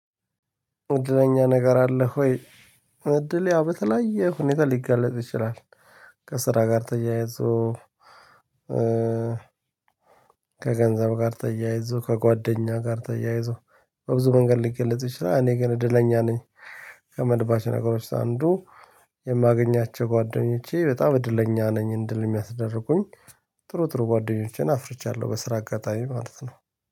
እድለኛ ነገር አልህ ወይ? እድል ያው በተለያየ ሁኔታ ሊገለጽ ይችላል። ከስራ ጋ ተያይዞ። ከገንዘብ ጋር ተያይዞ ከጓደኛዬ ጋር ተያይዞ በብዙ መንገድ ሊገለጽ ይችላል። እኔ ግን እድለኛ ነኝ። ከምልባቸው ነገሮች አንዱ የማገኛቸው ጓደኞቼ በጣም እድለኛ ነኝ እንድል የሚያስደርጉኝ ጥሩ ጥሩ ጓደኞች አፍርቻለው። በስራ አጋጣሚ ማለት ነው።